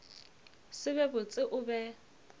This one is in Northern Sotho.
se be botse o be